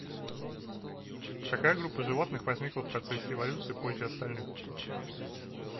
какая группа животных возникла в процессе эволюции позже остальных